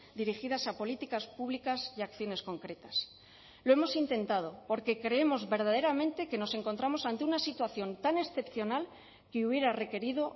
dirigidas a políticas públicas y acciones concretas lo hemos intentado porque creemos verdaderamente que nos encontramos ante una situación tan excepcional que hubiera requerido